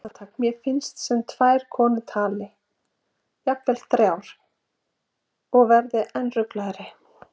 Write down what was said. Andartak finnst mér sem tvær konur tali, jafnvel þrjár, og verð enn ringlaðri.